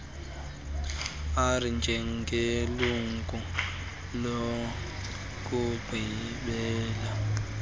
r njengelungu lokugqibela